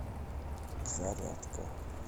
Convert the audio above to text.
зарядка